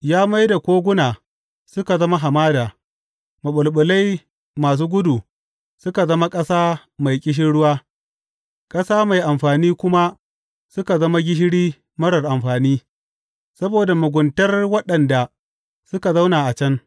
Ya mai da koguna suka zama hamada, maɓulɓulai masu gudu suka zama ƙasa mai ƙishirwa, ƙasa mai amfani kuma suka zama gishiri marar amfani, saboda muguntar waɗanda suka zauna a can.